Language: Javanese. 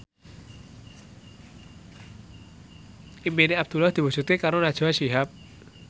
impine Abdullah diwujudke karo Najwa Shihab